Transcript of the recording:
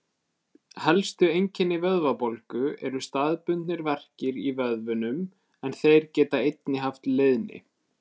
Helstu einkenni vöðvabólgu eru staðbundnir verkir í vöðvunum en þeir geta einnig haft leiðni.